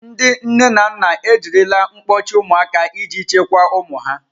Ndị nne na nna ejirila mkpọchi ụmụaka iji chekwaa ụmụ ha.